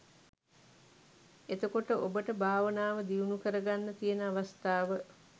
එතකොට ඔබට භාවනාව දියුණුකරගන්න තියෙන අවස්ථාව